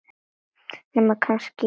Nema kannski í Japan.